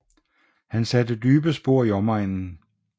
Han satte dybe spor i omegnen